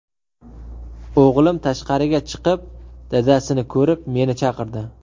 O‘g‘lim tashqariga chiqib dadasini ko‘rib, meni chaqirdi.